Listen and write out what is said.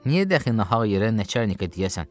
Niyə dəxi nahal yerə nəçərnika deyəsən?